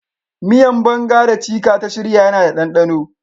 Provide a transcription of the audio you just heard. Miyan "banga" da " chika" ta shirya yana da danɗano.